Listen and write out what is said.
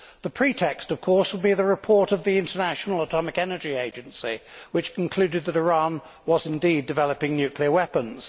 The pretext of course would be the report of the International Atomic Energy Agency, which concluded that Iran was indeed developing nuclear weapons.